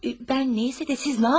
Mən nəysə də siz nə yapdınız?